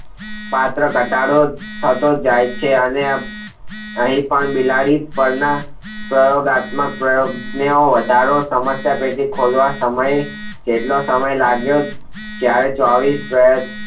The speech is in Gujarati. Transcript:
પાત્ર ઘટાડો થતો જાય છે અને અહીં પણ બિલાડી પ્રયોગાત્મક પ્રયોગનો વધારો સમસ્યા ટેટી ખોલવા જેટલો સમય લાગે જયારે ચોવીશ વર્ષ